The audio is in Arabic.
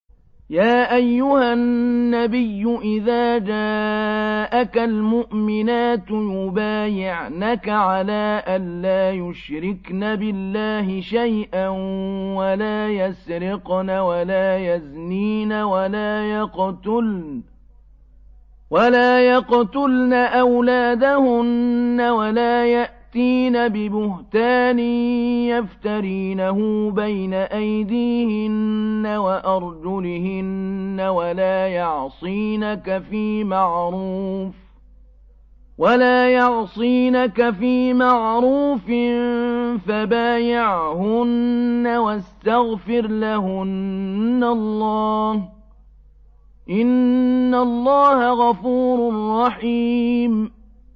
يَا أَيُّهَا النَّبِيُّ إِذَا جَاءَكَ الْمُؤْمِنَاتُ يُبَايِعْنَكَ عَلَىٰ أَن لَّا يُشْرِكْنَ بِاللَّهِ شَيْئًا وَلَا يَسْرِقْنَ وَلَا يَزْنِينَ وَلَا يَقْتُلْنَ أَوْلَادَهُنَّ وَلَا يَأْتِينَ بِبُهْتَانٍ يَفْتَرِينَهُ بَيْنَ أَيْدِيهِنَّ وَأَرْجُلِهِنَّ وَلَا يَعْصِينَكَ فِي مَعْرُوفٍ ۙ فَبَايِعْهُنَّ وَاسْتَغْفِرْ لَهُنَّ اللَّهَ ۖ إِنَّ اللَّهَ غَفُورٌ رَّحِيمٌ